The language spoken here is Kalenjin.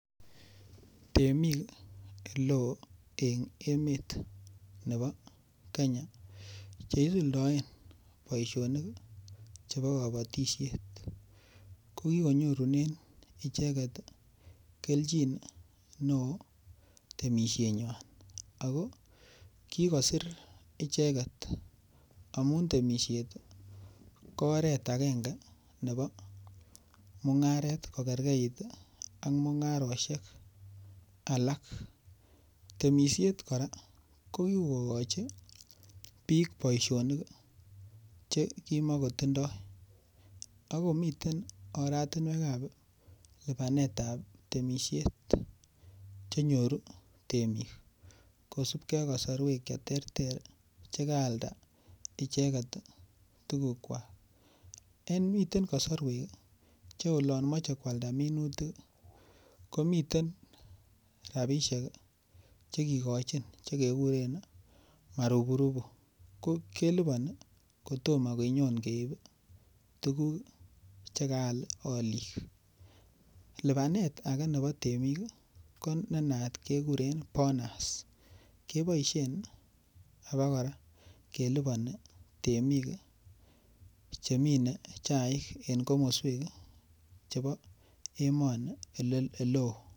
temiik eleoo en emet nebo kenya cheisuldoen boishonik chebo kobotisyeet, kogigonyorunen ichek iih kelchiin neoo temishet nywaan, ago kigosiir icheget amuun temishet ko oreet agenge nebo mungareet kogergeit iih ak mungaroshek alak, temishet kora kogigochi biik boishonik iih che kimagotindoo ak komiten oratinweek ab libaneet ab temishet chenyoru temiik kosubkee ak kasorweek cheterter chegaalda icheget tuguk kwaak, miten kasarweek che olomoche kwalda minutik komiten rabishek chegikochin chegegureen maruburubu, ko keliboni kotomo konyoon keib iih tuguuk chekaal oliik, libaneet age nebo temiik iih ko nenaat kegureen bonus, keboishen abakora keliboni temiik chemine chaik en komosweek chebo emoni eleoo.